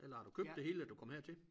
Eller har du købt det hele du kom hertil?